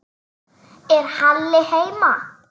Er Halli heima?